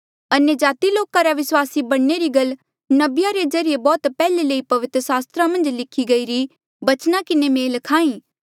अन्यजाति लोका रा विस्वासी बणने री गल नबिया रे ज्रीए बौह्त पैहले ले पवित्र सास्त्रा मन्झ लिखी गईरे बचना किन्हें मेल खाहां ऐें